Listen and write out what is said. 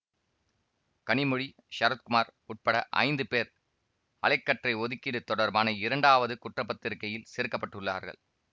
கனிமொழி சரத்குமார் உட்பட ஐந்து பேர் அலை கற்றை ஒதுக்கீடு தொடர்பான இரண்டாவது குற்றப்பத்திரிக்கையில் சேர்க்கப்பட்டுள்ளார்கள்